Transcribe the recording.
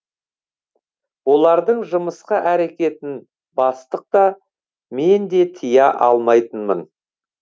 олардың жымысқы әрекетін бастық та мен де тыя алмайтынмын